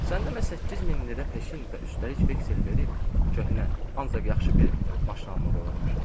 Sən demə 8000 lirə peşin və üstəlik veksel verib köhnə, ancaq yaxşı bir maşın almaq olurmuş.